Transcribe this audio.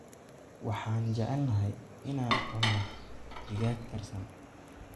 Waxaan jeclahay in aan cuno digaag karsan.